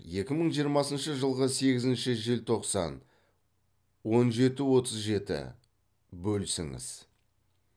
екі мың жиырмасыншы жылғы сегізінші желтоқсан он жеті отыз жеті бөлісіңіз